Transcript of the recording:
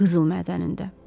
Qızıl mədənində.